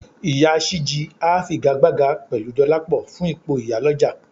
Ìyá Ṣìjí á figagbága pẹ̀lú Dọlápọ̀ fún ipò ìyálọ̀jà